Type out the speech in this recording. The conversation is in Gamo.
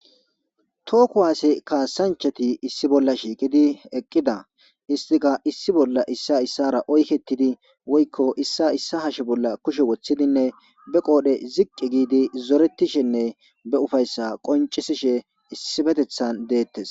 too kuwaase kaasanchati issi bolla shiiqidi eqqida istika issi bolla issa issara oykettidi woykko issa issa hashe bolla kushe woththidinne be qoodhe ziqqi giidi zoretishenne be ufayssa qoncisishe issifetethan deettes